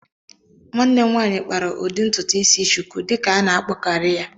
Nwanne m nwanyị kpara ụdị ntụtụ isi "shuku" dịka a na-akpọkarị ya